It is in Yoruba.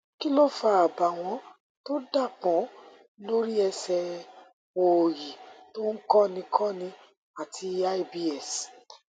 kí ló ń fa àbàwọn tó dápọn lórí ẹsẹ òòyì tó ń kọni kọni àti ibs